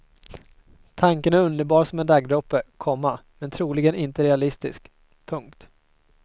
Tanken är underbar som en daggdroppe, komma men troligen inte realistisk. punkt